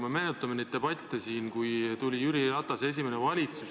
Me mäletame neid debatte siin, kui tuli Jüri Ratase esimene valitsus.